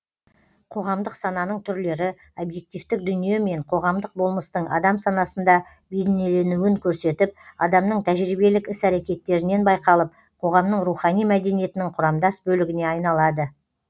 қоғамдық сананың түрлері объективтік дүние мен қоғамдық болмыстың адам санасында бейнеленуін көрсетіп адамның тәжірибелік іс әрекеттерінен байқалып қоғамның рухани мәдениетінің құрамдас бөлігіне айналады